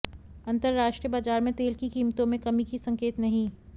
अंतरराष्ट्रीय बाजार में तेल की कीमतों में कमी के संकेत नहीं